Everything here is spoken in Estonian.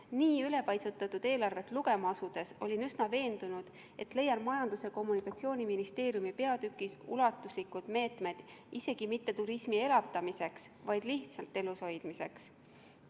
Nii ülepaisutatud eelarvet lugema asudes olin üsna veendunud, et leian Majandus- ja Kommunikatsiooniministeeriumi peatükist ulatuslikud meetmed isegi mitte turismi elavdamiseks, vaid lihtsalt elushoidmiseks.